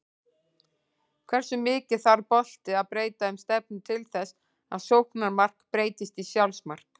Hversu mikið þarf bolti að breyta um stefnu til þess að sóknarmark breytist í sjálfsmark?